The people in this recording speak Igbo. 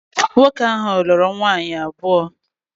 Nwoke ahu lulu nwaanyi abuo